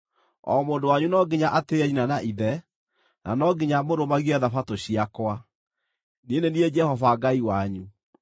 “ ‘O mũndũ wanyu no nginya atĩĩe nyina na ithe, na no nginya mũrũmagie Thabatũ ciakwa. Niĩ nĩ niĩ Jehova Ngai wanyu.